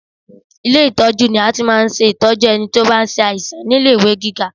Ilé ìtọ́jú ni a ti máa ń ṣe ìtọ́jú ẹni tí ó bá ń sàìsàn ní ilé-ìwé gíga